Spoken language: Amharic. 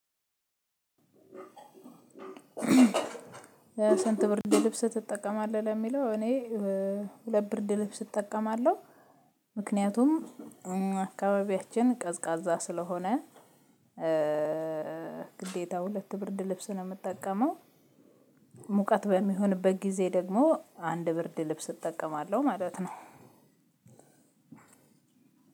ሰንት ብርድ ልብስ ትጠቀማለህ? ለሚለው እኔ ሁለት ብርድ ልብስ እጠቀማለሁ ምክንያቱም አካባቢያችን ቀዝቃዛ ስለሆነ። ግዴታው ሁለት ብርድ ልብስ ነው እምጠቀመው። ሙቀት በሚሆንበት ጊዜ ደግሞ አንድ ብርድ ልብስ እጠቀማለሁ ማለት ነው።